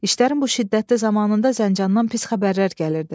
İşlərin bu şiddətli zamanında Zəncandan pis xəbərlər gəlirdi.